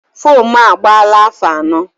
Fomu a agbala afọ anọ